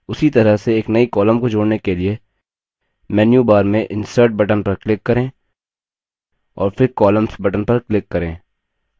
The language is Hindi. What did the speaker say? उसी तरह से एक नई column को जोड़ने के लिए मेन्यूबार में insert button पर click करें और फिर columns button पर click करें